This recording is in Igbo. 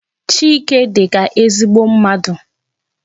Chike dịka ezigbo mmadụ.